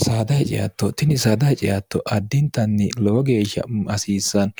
saada hiceatto tini saada hice atto addintanni lowo geeshsha hasiissanno